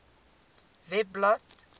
webblad